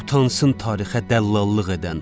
Utansın tarixə dəllallıq edən.